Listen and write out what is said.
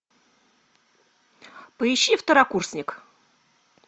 поищи второкурсник